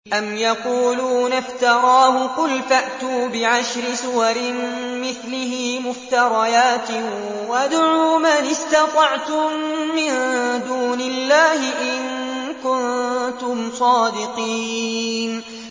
أَمْ يَقُولُونَ افْتَرَاهُ ۖ قُلْ فَأْتُوا بِعَشْرِ سُوَرٍ مِّثْلِهِ مُفْتَرَيَاتٍ وَادْعُوا مَنِ اسْتَطَعْتُم مِّن دُونِ اللَّهِ إِن كُنتُمْ صَادِقِينَ